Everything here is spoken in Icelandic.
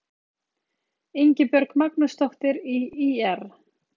Ingibjörg Magnúsdóttir í ÍR